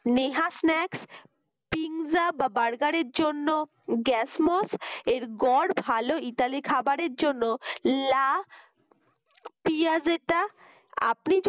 Neha snackspizza বা burger র জন্য গ্যাসমোস এর গড় ভালো ইতালি খাবারের জন্য লা পিয়াযেটা আপনি যদি